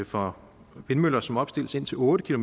for vindmøller som opstilles indtil otte